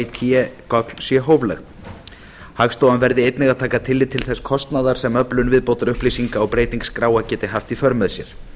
té gögn sé hóflegt hagstofan verði einnig að taka tillit til þess kostnaðar sem öflun viðbótarupplýsinga og breyting skráa geti haft í för með sér